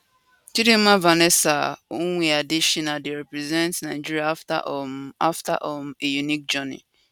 chidimma vanessa onwe adetshina dey represent nigeria after um after um a unique journey